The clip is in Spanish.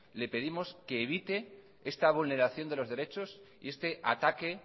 le pedimos que evite esta vulneración de los derechos y este ataque